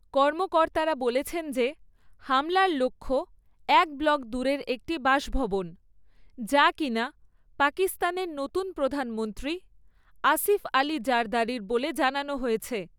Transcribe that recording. কর্মকর্তারা বলছেন যে হামলার লক্ষ্য এক ব্লক দূরের একটি বাসভবন, যা কিনা পাকিস্তানের নতুন প্রধানমন্ত্রী আসিফ আলী জারদারির বলে জানানো হয়েছে।